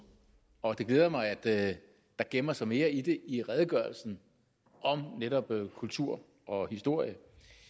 og det glæder mig at der gemmer sig mere i det i redegørelsen om netop kultur og historie